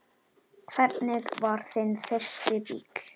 Hvernig var þinn fyrsti bíll?